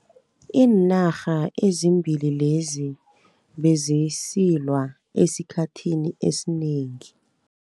Iinarha ezimbili lezi bezisilwa esikhathini esinengi.